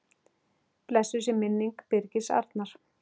Blessuð sé minning Birgis Arnar.